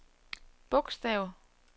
bogstav